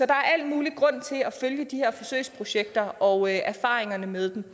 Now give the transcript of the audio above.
der al mulig grund til at følge de her forsøgsprojekter og erfaringerne med